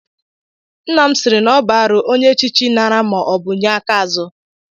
Nna m sịịrị na ọ bụ arụ onye echichi nara ma ọ bụ nye aka azụ.